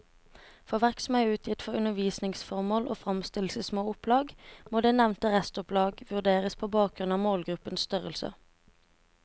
For verk som er utgitt for undervisningsformål og fremstilles i små opplag, må det nevnte restopplag vurderes på bakgrunn av målgruppens størrelse.